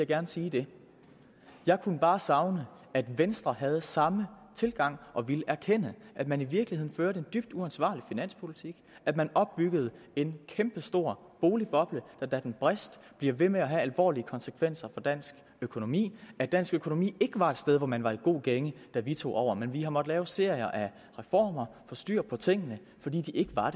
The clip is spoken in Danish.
gerne sige det jeg kunne bare savne at venstre havde samme tilgang og ville erkende at man i virkeligheden førte en dybt uansvarlig finanspolitik at man opbyggede en kæmpe stor boligboble der da den brast blev ved med at have alvorlige konsekvenser for dansk økonomi at dansk økonomi ikke var et sted hvor man var i en god gænge da vi tog over men vi har måttet lave serier af reformer og styr på tingene fordi der ikke var